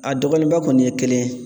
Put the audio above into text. A dɔgɔyalenba kɔni ye kelen ye